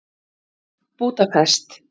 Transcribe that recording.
Búdapest